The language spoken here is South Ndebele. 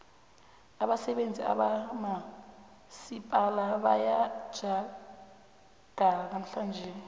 abasebenzi bakamasipala bayathjagala namhlanje